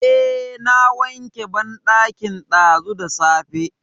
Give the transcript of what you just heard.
Eh, na wanke banɗakin ɗazu da safe.